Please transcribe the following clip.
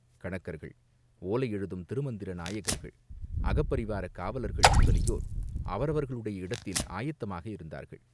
கணக்கர்கள், ஓலை எழுதும் திருமந்திர நாயகர்கள், அகப்பரிவாரக் காவலர்கள் முதலியோர் அவரவர்களுடைய இடத்தில் ஆயத்தமாக இருந்தார்கள்.